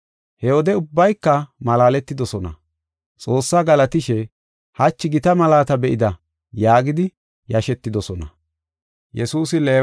He wode ubbayka malaaletidosona. Xoossaa galatishe, “Hachi gita malaata be7ida” yaagidi yashetidosona.